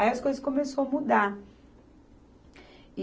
Aí as coisas começou a mudar. E